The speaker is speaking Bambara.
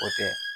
O tɛ